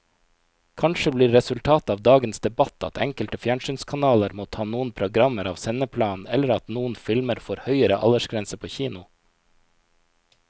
Kanskje blir resultatet av dagens debatt at enkelte fjernsynskanaler må ta noen programmer av sendeplanen eller at noen filmer får høyere aldersgrense på kino.